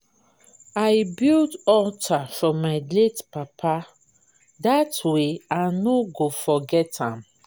I built altar for my late papa dat way I no go forgot am